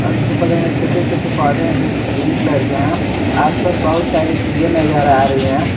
और इसके बगल में छोटे छोटे पौधे हैं जो कि ग्रीन कलर के हैं आसपास बहुत सारी चीजें नजर आ रही है।